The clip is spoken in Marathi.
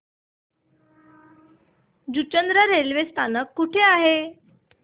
जुचंद्र रेल्वे स्थानक कुठे आहे